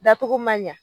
Dacogo man ɲa